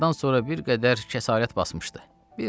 Nahardan sonra bir qədər kəsarət basmışdı.